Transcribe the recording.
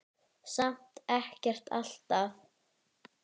Samt ekkert alltaf.